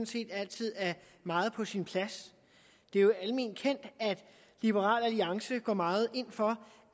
set altid er meget på sin plads det er jo almen kendt at liberal alliance går meget ind for